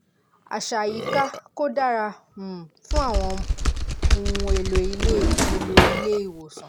àṣà àyíká kò dára um fún àwọn ohun èlò ilé èlò ilé ìwòsàn